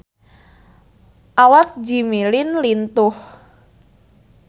Awak Jimmy Lin lintuh